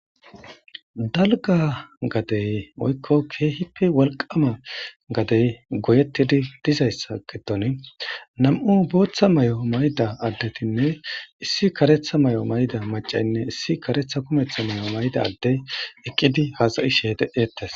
Dalgga gadee woykko keehippe wolqqaama gadee goyeththidi dizayssa gidoni nam7u booththa mayo mayida addethinne issi kareththa mayo mayida maccaynne issi kareththa kumeththa mayo mayida adddee eqqidi haasayishee de7eeththes.